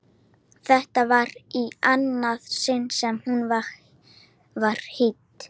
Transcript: Þetta var í annað sinn sem hún var hýdd.